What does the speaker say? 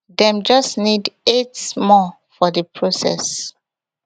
dem just need eight more for di process